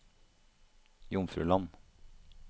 Jomfruland